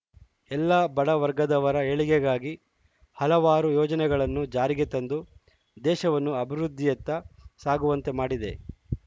ಎಲ್ಲ ಬಡವರ್ಗದವರ ಏಳಿಗೆಗಾಗಿ ಹಲವಾರು ಯೋಜನೆಗಳನ್ನು ಜಾರಿಗೆ ತಂದು ದೇಶವನ್ನು ಅಭಿವೃದ್ದಿಯತ್ತ ಸಾಗುವಂತೆ ಮಾಡಿದೆ